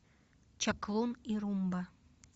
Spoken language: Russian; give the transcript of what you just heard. чаклун и румба